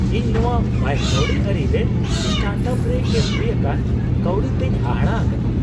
ᱤᱧ ᱱᱚᱶᱟ ᱵᱟᱹᱭ ᱠᱟᱹᱣᱰᱤ ᱟᱹᱨᱤ ᱨᱮ ᱥᱴᱟᱨᱴᱟᱯ ᱨᱮ ᱮᱢ ᱦᱩᱭᱩᱜ ᱠᱟᱱ ᱠᱟᱹᱣᱰᱤ ᱛᱮᱧ ᱦᱟᱦᱟᱲᱟ ᱟᱠᱟᱱᱟ ᱾